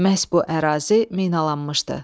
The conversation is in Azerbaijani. Məhz bu ərazi minalanmışdı.